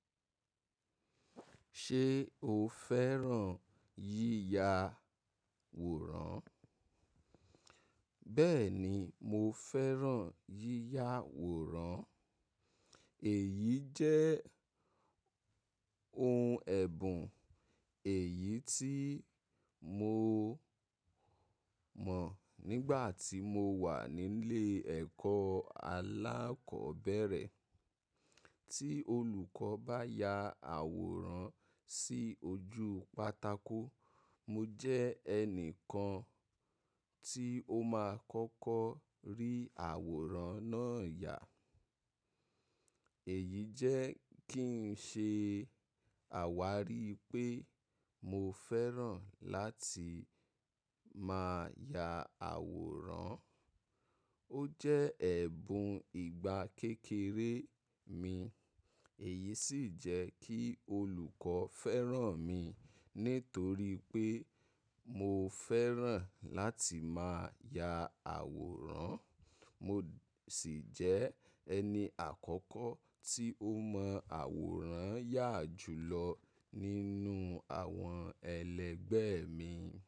Ṣé o fẹ́ràn yíya àwòrán? Bẹ́ẹ̀ni, mo fẹ́ràn yíya àwòrán. Èyí jẹ́ ohun ẹ̀bùn èyí tí mo mọ̀ nígbà tí mo wà nílé ẹ̀kọ́ alákọ̀ọ́bẹ̀rẹ̀. Tí olùkọ́ bá ya àwòrán sí ojú pátákó, mo jẹ́ ẹni kan tí ó máa kọ́kọ́ rí àwòrán náà yà. Èyí jẹ́ kí ń ṣe àwárí pé mo fẹ́ràn láti máa ya àwòrán. Ó jẹ́ ẹ̀bùn ìgbà kékeré mi, èyí sì jẹ́ kí olùkọ́ fẹ́ràn mi nítorí pé mo fẹ́ràn láti máa ya àwòrán. Mo sì jẹ́ ẹni àkọ́kọ́ tí ó mọ àwòrán yà jù lọ nínú àwọn ẹlẹgbẹ́ mi.